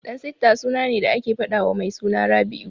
Dansitta suna ne da ake faɗawa mai suna Rabi'u.